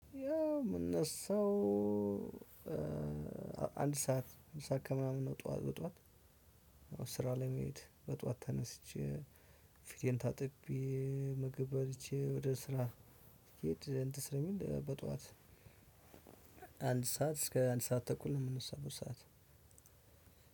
ያው የምነሳው አንድ ሰዓት አንድ ሰዓት ከምናምን ነው። በጠዋት ስራ ለመሄድ በጧት ተነስቼ ፊቴን ታጥቤ ምግብ በልቼ ወደ ስራ ስሄድ እንትን ስለሚል በጧት አንድ ሰዓት እስከ አንድ ሰዓት ተኩል ነው። የምነሳበት ሰዓት